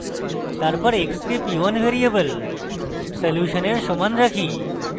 তারপর x k p1 variable সলিউশনের সমান রাখি